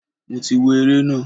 Mo ti wo ere na.